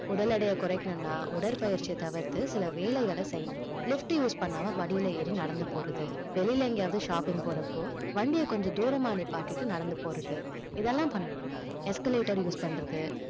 உடல் எடையை குறைக்கணும்னா உடற்பயிற்சியை தவிர்த்து சில வேலைகளை செய்யணும் lift use பண்ணாம படியில ஏறி நடந்து போறது வெளியில எங்கேயாவது shopping போறப்போ வண்டிய கொஞ்சம் தூரமா நிப்பாட்டிட்டு நடந்து போறது இதெல்லாம் பண்ணணும் escalator use பண்றது